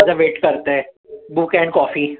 माझं wait करतंय. Book and coffee.